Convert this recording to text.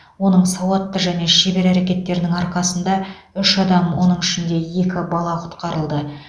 оның сауатты және шебер әрекеттерінің арқасында үш адам оның ішінде екі бала құтқарылды